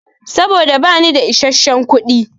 Saboda bani da isasshen kuɗi.